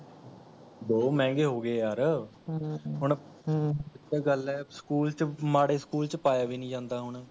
ਬਹੁਤ ਮਹੰਗੇ ਹੋ ਗਏ ਯਾਰ ਹਮਮ ਹੁਣ, ਓਹੀ ਤਾਂ ਗੱਲ ਹੈ school ਚ, ਮਾੜੇ school ਚ ਪਾਇਆ ਵੀ ਨਹੀ ਜਾਂਦਾ ਹੁਣ